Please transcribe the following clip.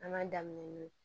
An ka daminɛ n'o ye